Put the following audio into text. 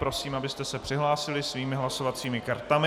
Prosím, abyste se přihlásili svými hlasovacími kartami.